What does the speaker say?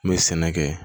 N bɛ sɛnɛ kɛ